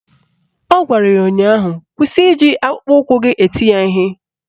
Ọ gwara ya ụnyaahụ "Kwụsị iji akpụkpọụkwụ eti ya ihe"!